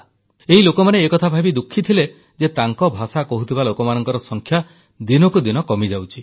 ଏ ଲୋକମାନେ ଏକଥା ଭାବି ଖୁବ୍ ଦୁଃଖୀ ଥିଲେ ଯେ ତାଙ୍କ ଭାଷା କହୁଥିବା ଲୋକମାନଙ୍କର ସଂଖ୍ୟା ଦିନକୁ ଦିନ କମିଯାଉଛି